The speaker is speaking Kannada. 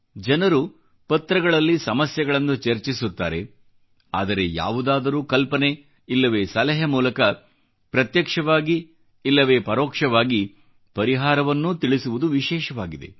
ಜನರು ಪತ್ರಗಳಲ್ಲಿ ಸಮಸ್ಯೆಗಳನ್ನು ಚರ್ಚಿಸುತ್ತಾರೆ ಆದರೆ ಯಾವುದಾದರೂ ಕಲ್ಪನೆ ಇಲ್ಲವೆ ಸಲಹೆ ಮೂಲಕ ಪ್ರತ್ಯಕ್ಷವಾಗಿ ಇಲ್ಲವೇ ಪರೋಕ್ಷವಾಗಿ ಪರಿಹಾರವನ್ನೂ ತಿಳಿಸುವುದು ವಿಶೇಷವಾಗಿದೆ